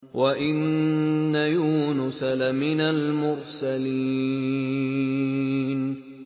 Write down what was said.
وَإِنَّ يُونُسَ لَمِنَ الْمُرْسَلِينَ